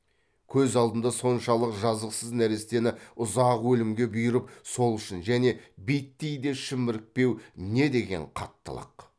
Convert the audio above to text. көз алдында соншалық жазықсыз нәрестені ұзақ өлімге бұйырып сол үшін және биттей де шімірікпеу не деген қаттылық